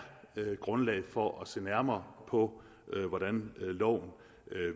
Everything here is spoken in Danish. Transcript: grundlag for at se nærmere på hvordan loven